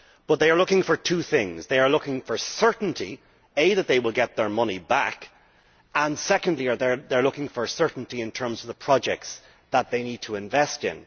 But they are looking for two things they are looking for certainty, firstly that they will get their money back, and secondly they are looking for certainty in terms of the projects that they need to invest in.